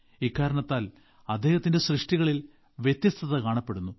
ഇക്കാരണത്താൽ അദ്ദേഹത്തിന്റെ സൃഷ്ടികളിൽ വ്യത്യസ്തത കാണപ്പെടുന്നു